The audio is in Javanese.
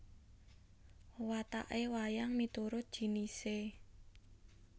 Wewataké wayang miturut jinisé a